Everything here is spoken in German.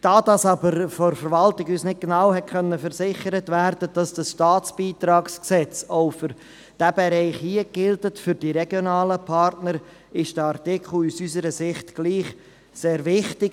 Da uns dies die Verwaltung nicht genau versichern konnte, dass das StBG auch für diesen Bereich gilt, für die regionalen Partner, ist der Artikel aus unserer Sicht trotzdem sehr wichtig.